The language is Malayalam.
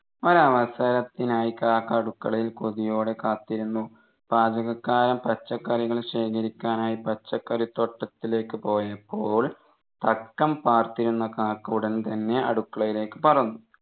ഒരു അവസരത്തിനായി കാക്ക അടുക്കളയിൽ കൊതിയോടെ കാത്തിരുന്നു പാചകക്കാരൻ പച്ചക്കറികൾ ശേഖരിക്കാനായി പച്ചക്കറിത്തോട്ടത്തിലേക്ക് പോയപ്പോൾ തക്കം പാർത്തിരുന്ന കാക്ക ഉടൻ തന്നെ അടുക്കളയിലേക്ക് പറന്നു